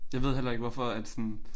Jeg ved heller ikke hvorfor at sådan